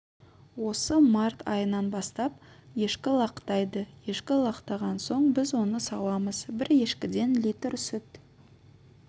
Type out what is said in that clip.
осы март айынан бастап ешкі лақтайды ешкі лақтаған соң біз оны сауамыз бір ешкіден литр сүт